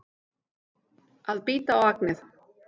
Að bíta á agnið